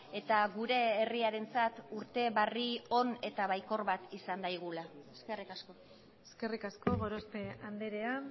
eta gure herriarentzat urte barri on eta baikor bat izan daigula eskerrik asko eskerrik asko gorospe andrea